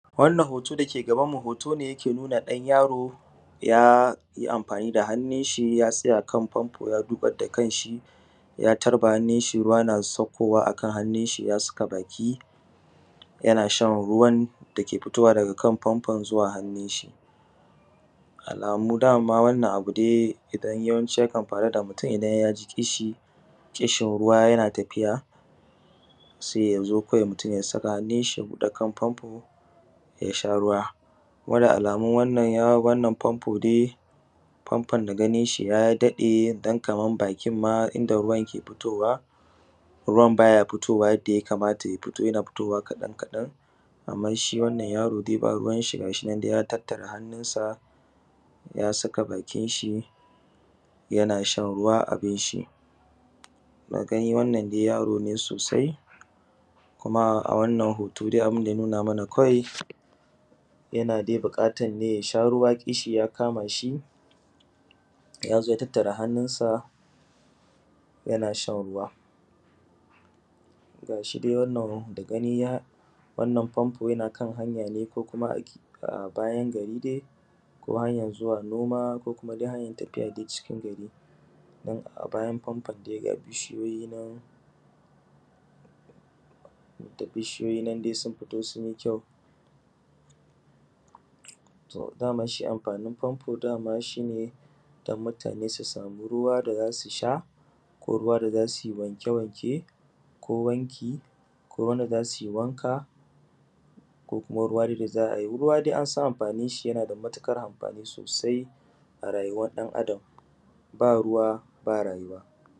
Wannan hoto dake gaban mu hoto ne dake nuna ɗan yaro yayi amfani da hannunshi ya tsaya kan fanfo ya dukar da kanshi ya tarba hannunshi ruwa na sakkowa a hannusgi ya saka baki yana shan ruwan dake sakkowa akan fanfonzuwa hannunshi. Alamu dama wannan abu dai idan yawanci yakan faru da mutun idan yaji ƙishi ƙishin ruwa yana tafiya sai yazo kawai ya saka hannushi ya buɗe kan famfo yasha ruwa. Kuma da alamu wannan famfo dai famfon da ganinshi ya daɗe dan kamam bakin ma inda ruwan ke futowa ruwan baya fitowa yadda ya kamata amma shi wannan yaro dai babu ruwanshi gashin dai ya tattare hannunsa ya saka bakinshi yana shan ruwa abunshi. Da gani wannan dai yaro ne sosai kuma a wannan hoto abunda ya nuna mana kawai yana dai buƙatan ne yasha ruwa ƙishi ya kamashi yazo ya tattara hannunsa yana shan ruwa. Gashi dai wannan da gani dai fanfon yna kan hanya ne ko kuma a bayan gari dai ko hanyan zuwa noma ko kuma dai hanyan tafiya dai cikin gari, domin a bayan fanfon ga bishiyoyi nan da bishiyoyi dai sun fiti sunyi kyau ta dama shi amfanin famfo dama shine dan mutane su samu ruwan da zasu sha ko ruws da zasui wanke wanke ko wanki ko wanda zasui wanka ko kuma ruwa dai da za ai ruwa dai ansan amfaninshi yana da matuƙar amfani sosai a rayuwan ɗan Adam ba ruwa ba rayuwa.